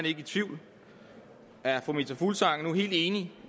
i tvivl er fru meta fuglsang nu helt enig